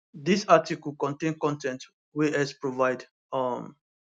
dis article contain con ten t wey x provide um